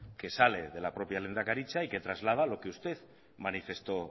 que sale de la propia lehendakaritza y que traslada lo que usted manifestó